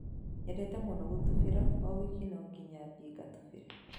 Nyendete mũno gũtubĩra oo wiki no nginya thiĩ ngatubire